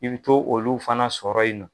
I bi to olu fana sɔrɔ yen nɔ